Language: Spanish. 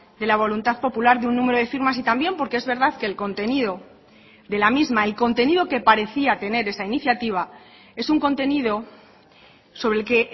de la voluntad popular de un número de firmas y también porque es verdad que el contenido de la misma el contenido que parecía tener esa iniciativa es un contenido sobre el que